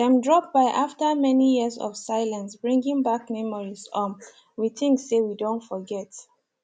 dem drop by after many years of silence bringing back memories um we think say we don forget